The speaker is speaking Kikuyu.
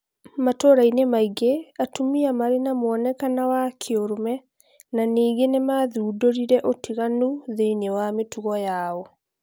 Matũũrainĩ maingĩ atumia marĩ na muonekana wa"kĩũrũme" na ningĩ nĩmathundũrirĩ ũtiganu thĩinĩ was mĩtugo yao